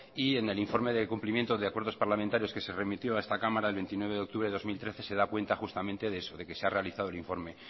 y en el informe del cumplimiento de acuerdos parlamentarios que se remitió a esta cámara el veintinueve de octubre del dos mil trece se da cuenta justamente de que se ha realizado el informe